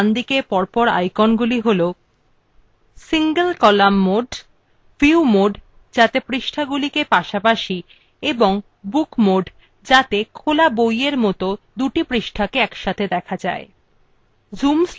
view layout এর বাম থেকে ডান দিকে পর পর আইকনগুলি হল single column mode view mode যাতে পৃষ্ঠাগুলিকে পাশাপাশি এবং book mode যাতে খোলা বইয়ের mode দুটি পৃষ্ঠাকে একসাথে দেখা যায়